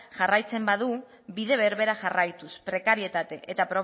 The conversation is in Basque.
jarraitzen badu bide berbera jarraituz prekarietate eta